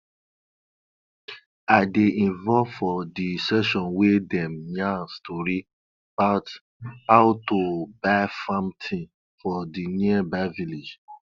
i dey involve for di session wey dem yarn story bout how to buy farm tins for di nearby village